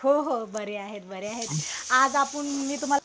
हो हो बरे आहेत आज आपुण मी तुम्हाला